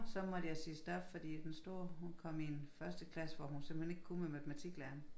Så måtte jeg sige stop fordi den store hun kom i en førsteklasse hvor hun simpelthen ikkke kunne med matematiklæren